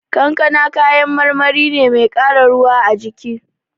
Kankana kayan marmari ne mai ƙara ruwa a jiki.